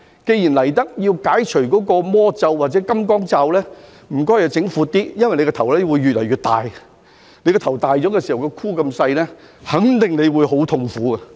既然來到這處解除魔咒或金剛罩，那麼請他們做闊一點，因為他們的頭只會越來越大，當頭大而頭箍小的時候，我肯定這會是很痛苦的。